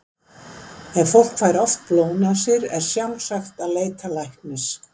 Ef fólk fær oft blóðnasir er sjálfsagt að leita læknis.